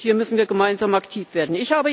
Hier müssen wir gemeinsam aktiv werden.